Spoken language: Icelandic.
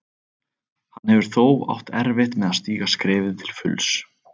Hann hefur þó átt erfitt með að stíga skrefið til fulls.